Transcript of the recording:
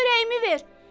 Çörəyimi ver!